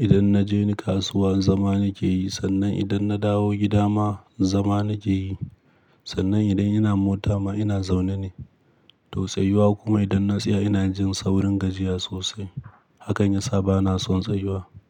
Idan na je kasuwa zama nake yi. Sannan idan na dawo gida ma zama nake yi. Sannan idan ina mota ma ina zaune ne, to tsayuwa kuma idan na tsaya ina jin saurin gajiya sosai. Hakan yasa bana son tsayuwa.